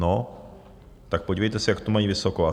No tak podívejte se, jak to mají vysoko.